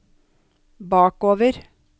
bakover